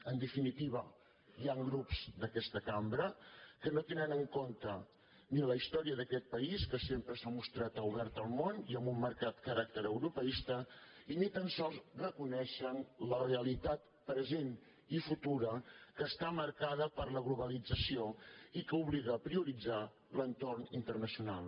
en definitiva hi han grups d’aquesta cambra que no tenen en compte ni la història d’aquest país que sem·pre s’ha mostrat obert al món i amb un marcat caràcter europeista i ni tan sols reconeixen la realitat present i futura que està marcada per la globalització i que obliga a prioritzar l’entorn internacional